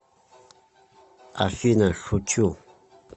афина шучу